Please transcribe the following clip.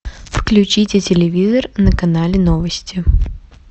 включите телевизор на канале новости